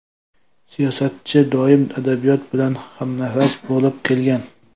Siyosatchi doim adabiyot bilan hamnafas bo‘lib kelgan.